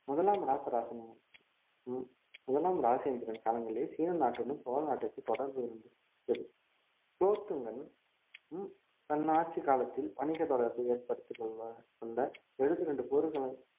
முதலாம் ராசராசனும் உம் முதலாம் ராசேந்திரன் காலங்களில் சீன நாட்டுடன் சோழ நாட்டிற்கு தொடர்பு இருந்தது குலோத்துங்கனும் உம் தன் ஆட்சிக் காலத்தில் வணிகத் தொடர்பு ஏற்படுத்திக் கொள்ள வந்த எழுபத்தி இரண்டு